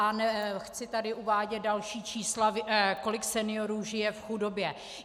A nechci tady uvádět další čísla, kolik seniorů žije v chudobě.